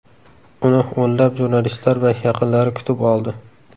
Uni o‘nlab jurnalistlar va yaqinlari kutib oldi .